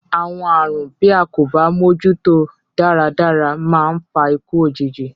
Àwọn àrùn, bí a kò bá mójúto dáradára, máa ń fa ikú òjijì.